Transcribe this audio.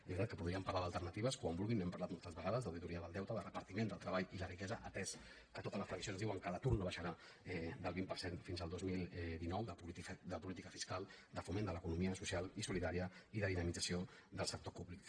és veritat que podríem parlar d’alternatives quan vulguin n’hem par·lat moltes vegades d’auditoria del deute de repartiment del treball i la riquesa atès que totes les previsions diuen que l’atur no baixarà del vint per cent fins al dos mil dinou de po·lítica fiscal de foment de l’economia social i solidària i de dinamització del sector públic